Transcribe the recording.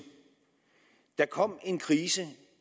der kom en krise